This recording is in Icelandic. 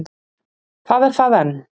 Það er það enn.